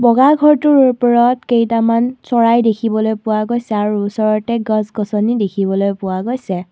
ঘৰটোৰ ওপৰত কেইটামান চৰাই দেখিবলৈ পোৱা গৈছে আৰু ওচৰতে গছ গছনি দেখিবলৈ পোৱা গৈছে।